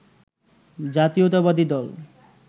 জাতীয়তাবাদী দল